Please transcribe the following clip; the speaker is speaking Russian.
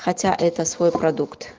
хотя это свой продукт